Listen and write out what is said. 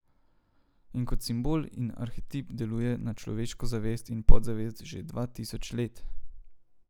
In kot simbol in arhetip deluje na človekovo zavest in podzavest že dva tisoč let.